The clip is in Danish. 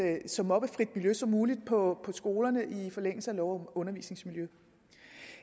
så mobbefrit miljø som muligt på skolerne i forlængelse af lov om undervisningsmiljø